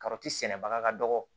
sɛnɛbaga ka dɔgɔ